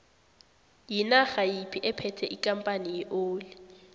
yinarha yiphi ephethe ikampani yeoli